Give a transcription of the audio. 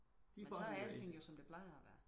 så er alting jo som det plejer at være